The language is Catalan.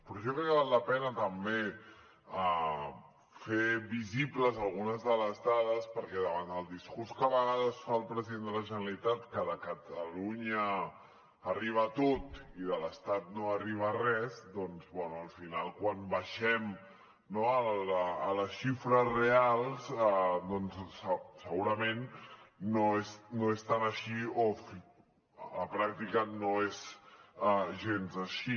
però jo crec que val la pena també fer visibles algunes de les dades perquè davant del discurs que a vegades fa el president de la generalitat que de catalunya arriba tot i de l’estat no arriba res doncs bé al final quan baixem no a les xifres reals doncs segurament no és tan així o la pràctica no és gens així